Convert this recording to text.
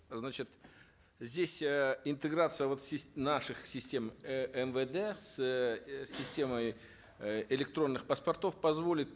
значит здесь э интеграция вот наших систем э мвд с системой э электронных паспортов позволит